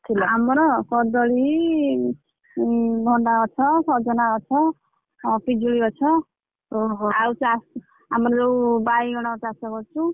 ଆମର କଦଳୀ, ଉଁ ଗଛ, ସଜନା ଗଛ, ଆଉ ପିଜୁଳି ଗଛ ଆଉ ଚଷ୍~ ଆମର ଯୋଉ ବାଇଗଣ ଚାଷ କରିଛୁ।